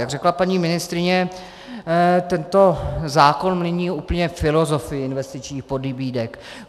Jak řekla paní ministryně, tento zákon mění úplně filozofii investičních pobídek.